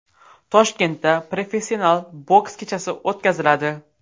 Toshkentda professional boks kechasi o‘tkaziladi.